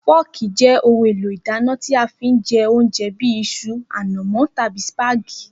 Fọ́ọ̀kì jé̩ ohun èlò ìdáná tí a fi ń je̩ oúnje̩ bí is̩u, ànàmó̩ tàbí sìpàgé̩tì